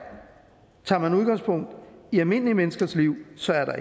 tager man udgangspunkt i almindelige menneskers liv så er der